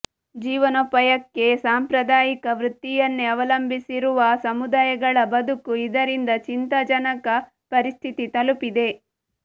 ಜೀವನೋಪಾಯಕ್ಕೆ ಸಾಂಪ್ರದಾಯಿಕ ವೃತ್ತಿಯನ್ನೇ ಅವಲಂಬಿಸಿರುವ ಸಮುದಾಯಗಳ ಬದುಕು ಇದರಿಂದ ಚಿಂತಾಜಕನ ಪರಿಸ್ಥಿತಿ ತಲುಪಿದೆ